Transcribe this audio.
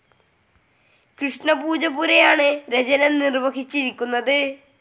കൃഷ്ണ പൂജപ്പുരയാണ് രചന നിർവ്വഹിച്ചിരിക്കുന്നത്.